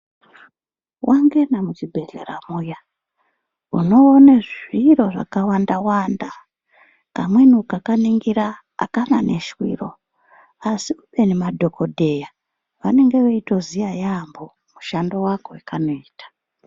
Wangena muchibhedhlera muya, unoona zviro zvakawanda. Kamweni ukakaningira akana neshwiro asi khubeni madhogodheya vanenge veitoziya yaamho mushando wako wekanoita.